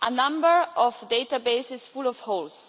A number of databases full of holes.